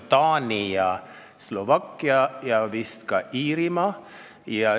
Need on Taani ja Slovakkia.